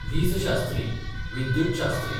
विजशास्त्री, विद्युतशात्री